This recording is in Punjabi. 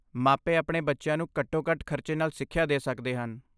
ਮਾਪੇ ਆਪਣੇ ਬੱਚਿਆਂ ਨੂੰ ਘੱਟੋ ਘੱਟ ਖ਼ਰਚੇ ਨਾਲ ਸਿੱਖਿਆ ਦੇ ਸਕਦੇ ਹਨ